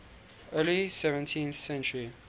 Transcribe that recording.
early seventeenth century